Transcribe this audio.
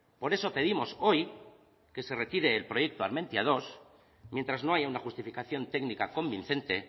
por eso pedimos hoy que se retire el proyecto armentiamenos dos mientras no haya una justificación técnica convincente